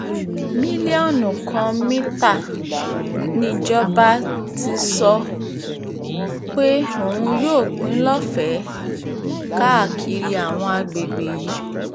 mílíọ̀nù kan mítà nìjọba ti sọ um pé òun yóò pín lọ́fẹ̀ẹ́ um káàkiri àwọn àgbègbè yìí